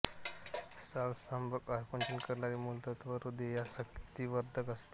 साल स्तंभक आकुंचन करणारी मूत्रल व हृदयास शक्तिवर्धक असते